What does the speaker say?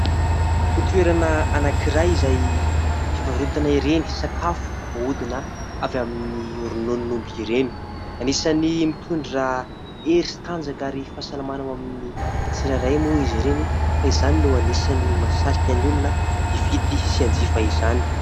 Toerana anankiray izay fivarotana ireny sakafo voahodina avy amin'ny rononon'omby ireny. Anisany mitondra hery sy tanjaka amin'ny fahasalamana ho an'ny tsirairay moa izy ireny ka izany no mahasarika ny olona hividy sy hanjifa izany.